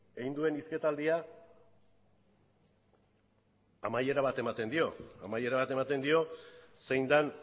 egin duen hizketaldia amaiera bat ematen dio amaiera bat ematen dio zein den